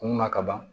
Kunna kaban